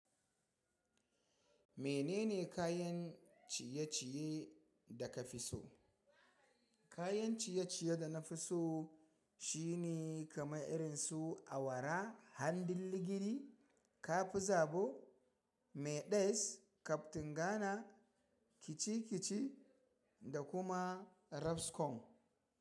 Menene kayan ciye-ciye da ka fi so? Kayan ciye-ciye da na fi so shine kamar irin su awara, hanjin ligidi, kafi zabo, Mayones, kantin Ghana, kaci-kaci da kuma rabskom.